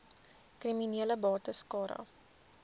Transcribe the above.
kriminele bates cara